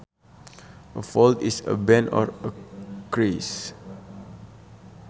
A fold is a bend or a crease